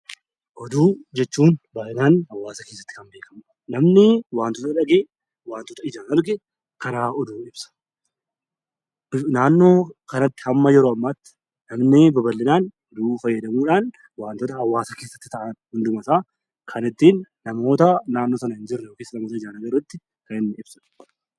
Oduu jechuun baay'inaan hawaasa keessatti kan kan beekamudha. Namni wanta dhagaye, wantoota ijaan arge karaa oduun ibsa. Naannoo kanatti haga yeroo ammaatti namni bal'inaan oduu fayyadamuudhaan wantoota hawaasa keessatti ta'an hundumaa kan ittiin namoota naannoo sana jiranitti karaa itti ibsudha.